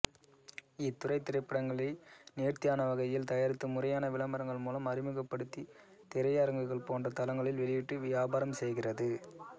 இத்துறை திரைப்படங்களை நேர்த்தியானவகையில் தயாரித்து முறையான விளம்பரங்கள் மூலம் அறிமுகப்படுத்தி திரையரங்குகள் போன்ற தளங்களில் வெளியிட்டு வியாபாரம் செய்கிறது